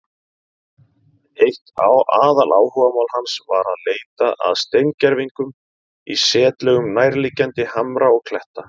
Eitt aðaláhugamál hans var að leita að steingervingum í setlögum nærliggjandi hamra og kletta.